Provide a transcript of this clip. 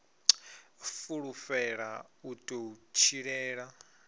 fulufhela u ḓo u tshilela